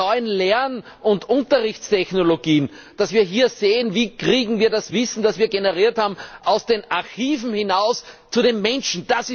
Die neuen Lern und Unterrichtstechnologien dass wir hier sehen Wie bekommen wir das Wissen, das wir generiert haben, aus den Archiven hinaus zu den Menschen?